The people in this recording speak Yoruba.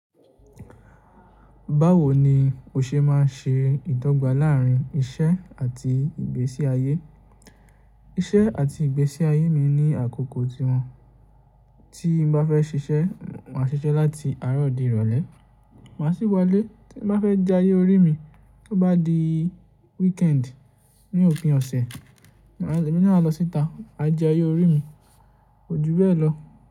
Báwo ni o ṣe máa ń ṣe ìdọ́gba láàárín iṣẹ́ àti ìgbésí ayé? Iṣẹ́ àti ìgbésí ayé mi ní àkókò tiwọn, tí mo bá fẹ́ ṣiṣẹ́, màá ṣiṣẹ́ láti àárọ̀ di ìrọ̀lẹ́, màá sì wọlé tí mo bá fẹ́ jẹ ayé orí mi. Tó bá di weekend, ní òpin ọ̀sẹ̀, èmi náà a lọ síta, a jẹ ayé orí mi, kojú bẹ́ẹ̀ lọ.